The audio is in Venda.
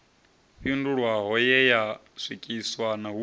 fhindulwaho ye ya swikiswa hu